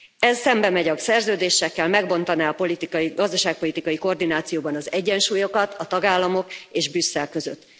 Ez szembemegy a szerződésekkel, megbontaná a politikai, gazdaságpolitikai koordinációban az egyensúlyokat a tagállamok és Brüsszel között.